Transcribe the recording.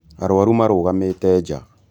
Arwaru marũgamĩte nja